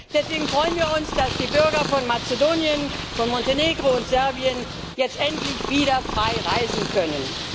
Deswegen freuen wir uns, dass die Bürger von Mazedonien, von Montenegro und Serbien jetzt endlich wieder frei reisen können.